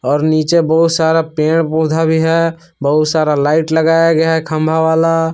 और नीचे बहुत सारा पेड़ पौधे भी है बहुत सारा लाइट लगाया गया है खंभा वाला।